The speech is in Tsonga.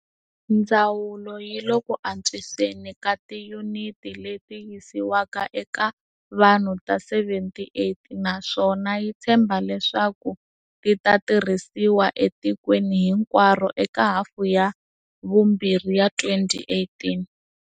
Ndzawulo yi le ku antswiseni ka tiyuniti leti yisiwaka eka vanhu ta 78, naswona ya tshemba leswaku ti ta tirhisiwa etikweni hinkwaro eka hafu ya vumbirhi ya 2018.